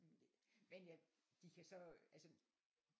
Men de kan så altså